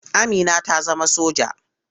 Amina ta zama soja.